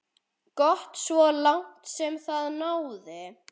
Gott svo langt sem það náði.